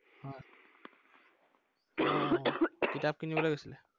আহ আহ আহ কিতাপ কিনিবলে গৈছিলা?